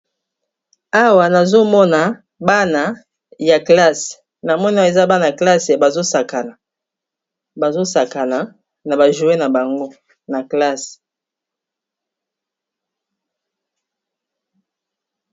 Awa nazomona bana ya classe, namoni eza bana ya classe bazo sakana na ba jouet na bango na classe.